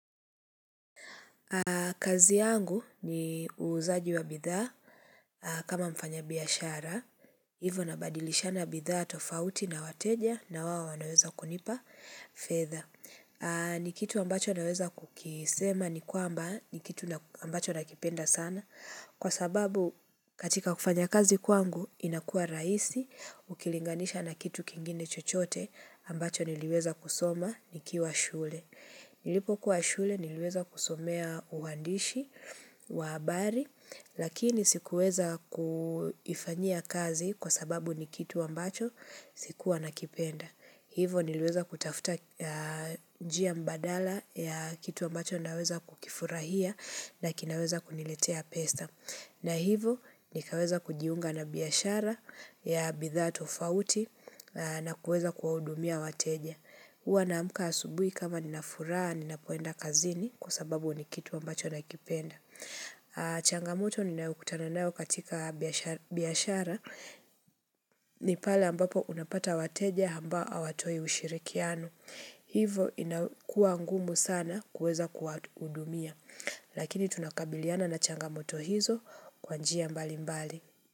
Kazi yangu ni uuzaji wa bidhaa kama mfanya biashara. Hivo nabadilishana bidhaa tofauti na wateja na waowanaweza kunipa fedha. Ni kitu ambacho naweza kukisema ni kwamba ni kitu ambacho nakipenda sana. Kwa sababu katika kufanya kazi kwangu inakuwa rahisi ukilinganisha na kitu kingine chochote ambacho niliweza kusoma nikiwa shule. Nilipokuwa shule niliweza kusomea uandishi wa habari, lakini sikuweza kufanyia kazi kwa sababu ni kitu ambacho sikuwa nakipenda. Hivo niliweza kutafuta njia mbadala ya kitu ambacho naweza kukifurahia na kinaweza kuniletea pesa. Na hivo nikaweza kujiunga na biashara ya bidhaa tofauti na kuweza kuwahudumia wateja. HUwa naamka asubui kama nina furaha ninapoenda kazini kwa sababu ni kitu ambacho nakipenda. Changamoto ninayokutana nayo katika biashara ni pala ambapo unapata wateja ambao hawatoi ushirikiano. Hivo inakuwa ngumu sana kuweza kuwahudumia. Lakini tunakabiliana na changamoto hizo kwa njia mbaimbali.